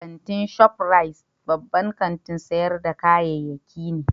Kantin Shop Rite babban kantin sayar da kayyaki ne